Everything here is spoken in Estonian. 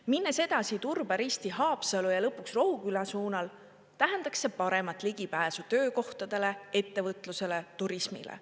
Minnes edasi Turba, Risti, Haapsalu ja lõpuks Rohuküla suunal tähendaks see paremat ligipääsu töökohtadele, ettevõtlusele, turismile.